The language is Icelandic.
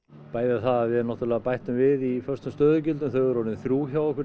bæði það að við bættum við í föstum stöðugildum þau eru orðin þrjú hjá okkur í